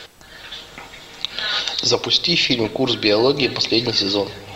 запусти фильм курс биологии последний сезон